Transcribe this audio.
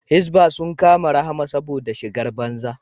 Hisbah sun kama Rahma saboda shigar banza